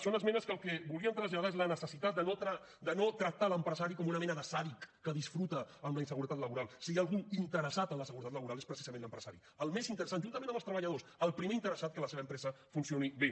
són esmenes que el que volien traslladar és la necessitat de no tractar l’empresari com una mena de sàdic que disfruta amb la inseguretat laboral si hi ha algú interessat en la seguretat laboral és precisament l’empresari el més interessat juntament amb els treballadors el primer interessat que la seva empresa funcioni bé